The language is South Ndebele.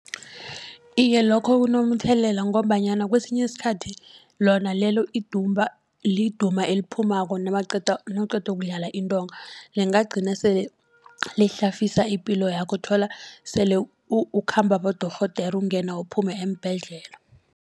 Iye lokho kunomthelela ngombanyana kwesinye isikhathi lona lelo indumba liduma ephumako nawuqeda ukudlala intonga. Lingagcina sele lihlafisa ipilo yakho uthola sele ukhamba abodorhodera ukungena uphume eembhedlela.